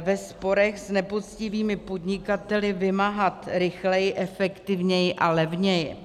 ve sporech s nepoctivými podnikateli vymáhat rychleji, efektivněji a levněji.